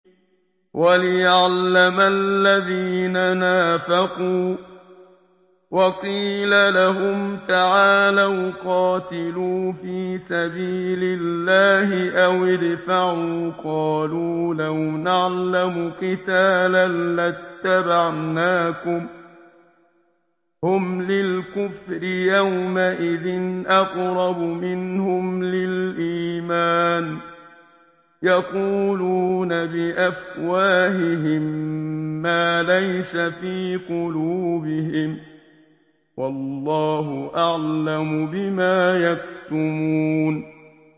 وَلِيَعْلَمَ الَّذِينَ نَافَقُوا ۚ وَقِيلَ لَهُمْ تَعَالَوْا قَاتِلُوا فِي سَبِيلِ اللَّهِ أَوِ ادْفَعُوا ۖ قَالُوا لَوْ نَعْلَمُ قِتَالًا لَّاتَّبَعْنَاكُمْ ۗ هُمْ لِلْكُفْرِ يَوْمَئِذٍ أَقْرَبُ مِنْهُمْ لِلْإِيمَانِ ۚ يَقُولُونَ بِأَفْوَاهِهِم مَّا لَيْسَ فِي قُلُوبِهِمْ ۗ وَاللَّهُ أَعْلَمُ بِمَا يَكْتُمُونَ